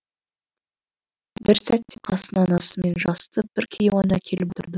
бір сәтте қасына анасымен жасты бір кейуана келіп отырды